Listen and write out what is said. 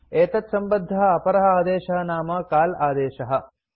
एतत्सम्बद्धः अपरः आदेशः नाम काल आदेशः